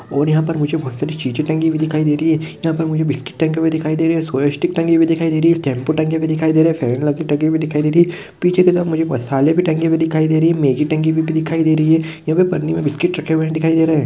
और यहाँ पर मुझे बहुत सारी चीजे टंगी हुए दिखाई दे रही है यहां पर मुझे बिस्किट टंगे हुए दिखाय दे रहे है सोयास्टिक टंगी हुए दिखाई दे रही है शैम्पू टंगे हुए दिखाई दे रहे है फेयर लवली टंगी हुई दिखाय दे रही है पीछे की तरफ मुझे मसाले टंगे हुए दिखाई दे रहे मैगी टंगी हुई दिखाई दे रही है और पनि मे बिस्कुट रखे हुए दिखाय दे रहे है।